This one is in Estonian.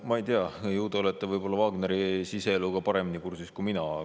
No ma ei tea, ju te olete Wagneri siseeluga paremini kursis kui mina.